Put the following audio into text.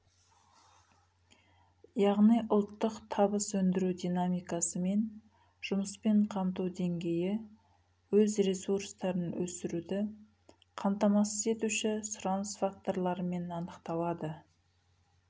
яғни ұлттық табыс өндіру динамикасы мен жұмыспен қамту деңгейі өз ресурстарын өсіруді қамтамасыз етуші сұраныс факторларымен анықталады